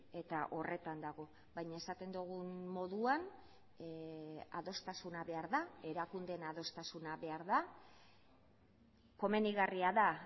eta horretan dago baina esaten dugun moduan adostasuna behar da erakundeen adostasuna behar da komenigarria da